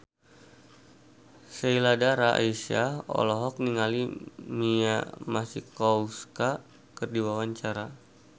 Sheila Dara Aisha olohok ningali Mia Masikowska keur diwawancara